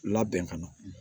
Labɛn ka na